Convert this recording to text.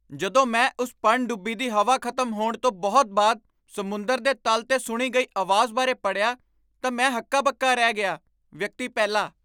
ਜਦੋਂ ਮੈਂ ਉਸ ਪਣਡੁੱਬੀ ਦੀ ਹਵਾ ਖ਼ਤਮ ਹੋਣ ਤੋਂ ਬਹੁਤ ਬਾਅਦ ਸਮੁੰਦਰ ਦੇ ਤਲ 'ਤੇ ਸੁਣੀ ਗਈ ਆਵਾਜ਼ ਬਾਰੇ ਪੜ੍ਹਿਆ ਤਾਂ ਮੈਂ ਹੱਕਾ ਬੱਕਾ ਰਹਿ ਗਿਆ ਵਿਅਕਤੀ ਪਹਿਲਾ